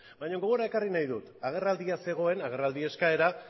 bainan gogora ekarri nahi dut agerraldia zegoen agerraldi eskaera